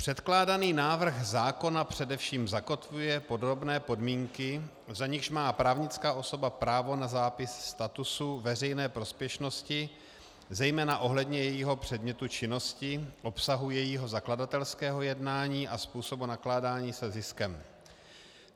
Předkládaný návrh zákona především zakotvuje podrobné podmínky, za nichž má právnická osoba právo na zápis statusu veřejné prospěšnosti, zejména ohledně jejího předmětu činnosti, obsahu jejího zakladatelského jednání a způsobu nakládání se ziskem.